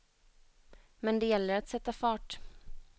Men det gäller att sätta fart.